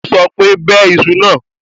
Ó sọ pé, 'bẹ iṣu náà.'